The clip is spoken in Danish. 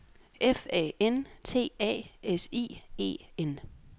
F A N T A S I E N